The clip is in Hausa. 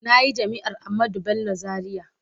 Na yi Jami’ar Ahmadu Bello Zariya.